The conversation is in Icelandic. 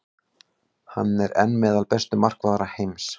Hann er enn meðal bestu markvarða heims.